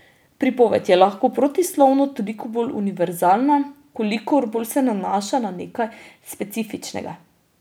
Pripoved je lahko protislovno toliko bolj univerzalna, kolikor bolj se nanaša na nekaj specifičnega.